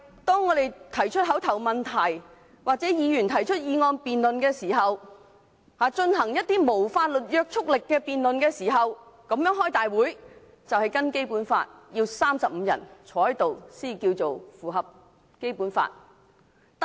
當議員提出口頭質詢或議案辯論，即進行無法律約束力的議案辯論時，會議的法定人數要有35人，以符合《基本法》的規定。